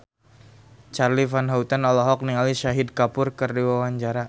Charly Van Houten olohok ningali Shahid Kapoor keur diwawancara